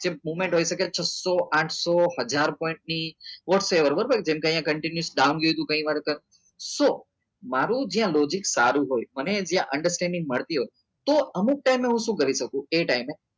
movement હોઈ શકે છસો આઠસો ની whatever બરાબર જેમકે અહીંયા continue મારું જે આ logic ચાલુ હોય મને જે understanding મળતી હોય તો હું અમુક વાર હું શું કરીશ કરી શકું એ ટાઈમે